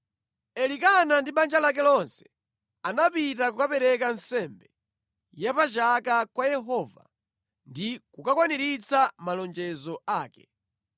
Elikana ndi banja lake lonse anapita kukapereka nsembe ya pa chaka kwa Yehova ndi kukakwaniritsa malonjezo ake.